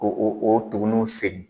Ko o o tugunw sen